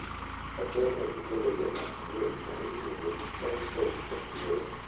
otel ne gi koda jamak gol ma iluongo ni sisal otuoro.